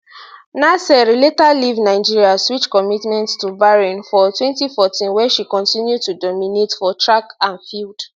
naser later leave nigeria switch commitment to bahrain for 2014 wia she continue to dominate for track and field